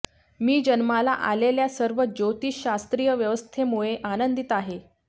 मी जन्माला आलेल्या सर्व ज्योतिषशास्त्रीय व्यवस्थेमुळे आनंदित आहे